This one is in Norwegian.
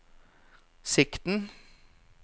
sikten